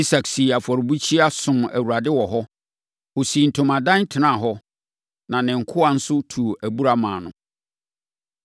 Isak sii afɔrebukyia, somm Awurade wɔ hɔ. Ɔsii ntomadan, tenaa hɔ, na ne nkoa nso tuu abura maa no.